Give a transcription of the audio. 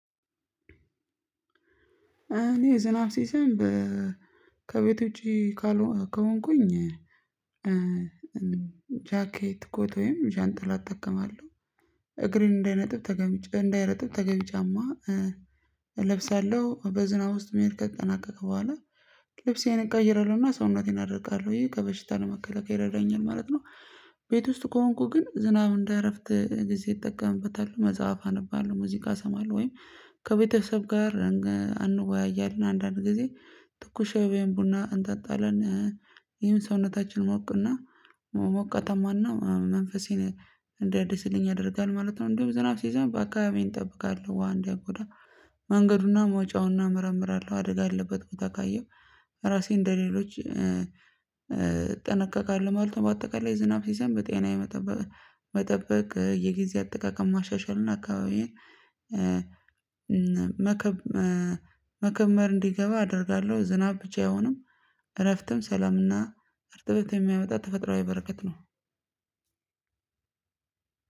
እኔ ዝናብ ሲዘንብ ከቤት ውጪ ካልሆንኩኝ እኛ ጃኬት ኮቶዬም ጃንጥላ እጠቀማለሁ እግሬን እንዳይነጥብ ተገቢ እንዳይረጥብ ተገቢ ጫማ እለብሳለሁ በዝናብ ውስጥ መሄድ ከተጠናቀቀ በኋላ ልብሴን እቀይራለሁና ሰውነቴን አደርቃለሁ ይሄ ከበሽታ ነው መከለከል ይረዳኛል ማለት ነው። ቤት ውስጥ ከሆንኩ ግን ዝናብ እንደ እረፍት ጊዜ እጠቀምበታለሁ መጽሐፍ አነባለሁ ሙዚቃ እሰማለሁ ወይም ከቤተሰብ ጋር እንወያያለን አንዳንድ ጊዜ ትኩስ ሻይና ቡና እንጣጣለን። ይህን ሰውነታችን ሞቅና ሞቃታማና መንፈሴን እንደ ደስልኝ ያደርጋል ማለት ነው። እንደ ዝናብ ሲይዘን ሲዘንብ አካባቢ እንጠብቃለሁ ውሃ እንዳይጎዳ መንገዱና መውጫውን እናመረምራለሁ አደጋ አለበት ቦታ ካየሁ ራሴን እንደሌሎች እጠነቀቃለሁ ማለት ነው። በአጠቃላይ ዝናብ ሲዘንብ ጤና የመጠበቅ የጊዜ አጠቃቀም ማሻሻልና አካባቢዬን መከብ መከመር እንዲገባ አደርጋለሁ ዝናብ ብቻ አይሆንም እረፍትም ሰላምና እርጥበት የሚያመጣ ተፈጥሮ አይበረከት ነው።